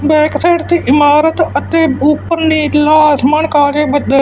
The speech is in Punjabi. ਬੈਕ ਸਾਈਡ ਤੇ ਇਮਾਰਤ ਅਤੇ-- ਤੇ ਉਪਰ ਨੀਲਾ ਅਸਮਾਨ ਕਾਲੇ ਬੱਦਲ